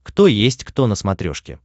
кто есть кто на смотрешке